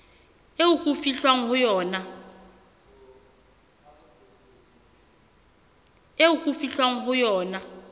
eo ho fihlwang ho yona